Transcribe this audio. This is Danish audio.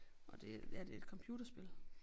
Nåh det er det et computerspil